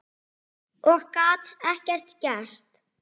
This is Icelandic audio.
Og gat ekkert gert.